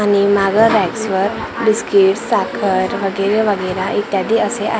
आणि मागं रॅक्स वर बिस्किट्स साखर वगैरे वगैरा इत्यादी असे आ--